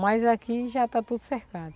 Mas aqui já está tudo cercado.